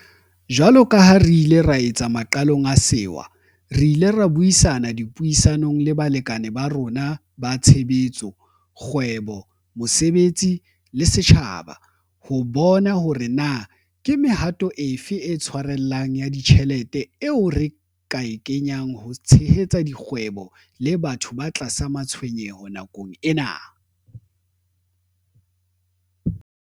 Jwalo ka ha re ile ra etsa maqalong a sewa, re ile ra buisana dipuisanong le balekane ba rona ba tshebetso, kgwebo, mosebetsi le setjhaba ho bona hore na ke mehato e fe e tshwarellang ya ditjhelete eo re ka e kenyang ho tshehetsa dikgwebo le batho ba tlasa matshwenyeho nakong ena.